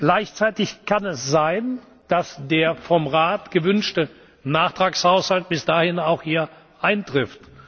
werden. Gleichzeitig kann es sein, dass der vom Rat gewünschte Nachtragshaushalt bis dahin auch hier eintrifft.